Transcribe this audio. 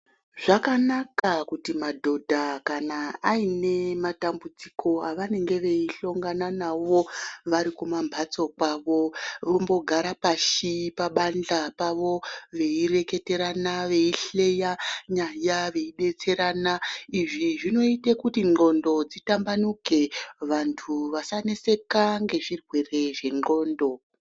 Zvakanaka kuti madhodha kana aine matambudziko avanenge veihlongana nawo varikumamhatso kwavo vombogara pashi pabandla pavo veireketerana veihleya nyaya veidetserana. Izvi zvinoita kuti ndxondo dzitambanuke vanhu vasaneseka ngezvirwere zvendxondo.